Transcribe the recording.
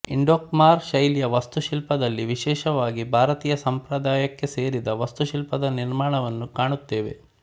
Indo Khmer ಶೈಲಿಯ ವಾಸ್ತುಶಿಲ್ಪದಲ್ಲಿ ವಿಶೇಷವಾಗಿ ಭಾರತೀಯ ಸಂಪ್ರದಾಯಕ್ಕೆ ಸೇರಿದ ವಾಸ್ತುಶಿಲ್ಪದ ನಿರ್ಮಾಣವನ್ನು ಕಾಣುತ್ತೇವೆ